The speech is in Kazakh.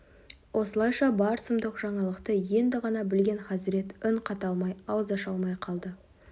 осылайша бар сұмдық жаңалықты енді ғана білген хазірет үн қата алмай ауыз аша алмай қалды